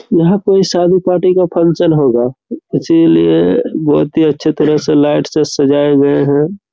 यहाँ पे शादी पार्टी का फंक्शन होगा इसीलिए बहुत ही अच्छे तरह से लाइट से सजाये हुए है।